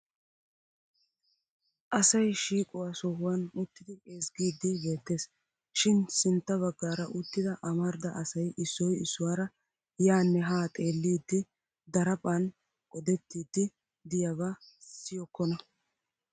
Asay shiiquwaa sohuwan uttidi ezggiidi beettes. Shin sintta baggaara uttida amarida asay issoy issuwaara yaanne haa xeeliiddi daraphan odettiidi diyabaa siyokkona.